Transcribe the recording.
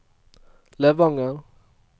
Levanger